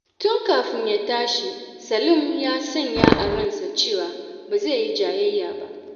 Tun kafin ya tashi, Salim ya sanya a ransa cewa ba zai yi jayayya ba.